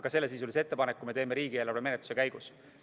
Aga sellesisulise ettepaneku me teeme riigieelarve menetluse käigus.